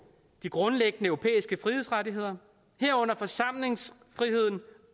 de grundlæggende europæiske frihedsrettigheder herunder forsamlingsfriheden